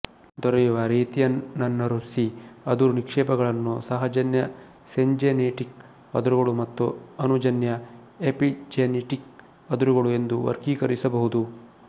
ದೊರೆಯುವ ರೀತಿಯನ್ನನುಸರಿಸಿ ಅದುರು ನಿಕ್ಷೇಪಗಳನ್ನು ಸಹಜನ್ಯ ಸಿಂಜೆನಿಟಿಕ್ ಅದುರುಗಳು ಮತ್ತು ಅನುಜನ್ಯ ಎಪಿಜೆನಿಟಿಕ್ ಅದುರುಗಳು ಎಂದು ವರ್ಗೀಕರಿಸಬಹುದು